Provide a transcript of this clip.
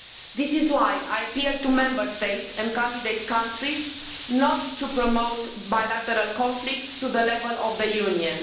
This is why I appeal to Member States and candidate countries not to promote bilateral conflicts to the level of the Union.